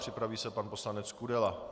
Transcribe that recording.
Připraví se pan poslanec Kudela.